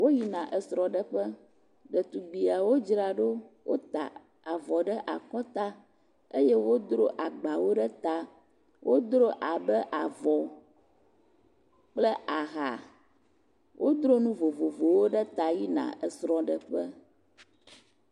Woyina esrɔ̃ɖeƒe. Ɖetugbiawo dzra ɖo. Wota avɔ ɖe akɔta eye wodo agbawo ɖe ta. Wodro abe avɔ kple aha. Wodro nu vovovowo ɖe ta yina esrɔ̃ɖeƒe.